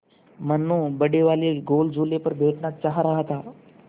मनु बड़े वाले गोल झूले पर बैठना चाह रहा था